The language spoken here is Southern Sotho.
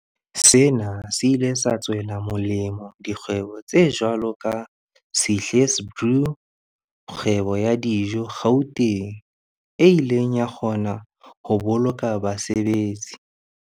Sena se ile sa tswela molemo dikgwebo tse jwalo ka Sihle's Brew, kgwebo ya dijo Gauteng, e ileng ya kgona ho boloka basebetsi.